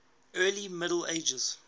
early middle ages